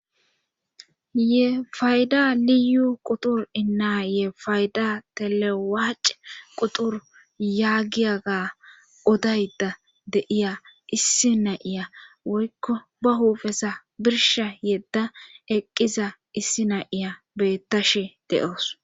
ye fayda liyu qutur innaa ye fayda telewaac qutur yaagiyaga odayda deiya issi nayiya woykko ba huufesa birsha yedda eqqiza issi nayiya beettashe de7oos